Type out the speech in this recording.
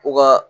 U ka